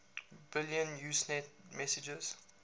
billion usenet messages